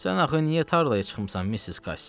Sən axı niyə tarlaya çıxmısan, Missis Kassi?